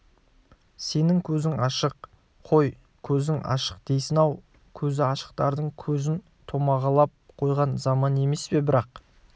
сенің көзің ашық қой көзің ашық дейсін-ау көзі ашықтардың көзін томағалап қойған заман емес пе бірақ